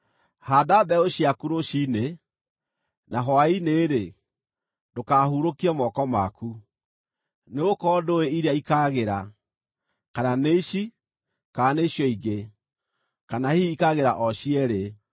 Haanda mbeũ ciaku rũciinĩ, na hwaĩ-inĩ-rĩ, ndũkahurũkie moko maku, nĩgũkorwo ndũũĩ iria ikaagĩra, kana nĩ ici, kana nĩ icio ingĩ, kana hihi ikaagĩra o cierĩ.